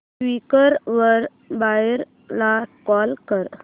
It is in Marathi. क्वीकर वर बायर ला कॉल कर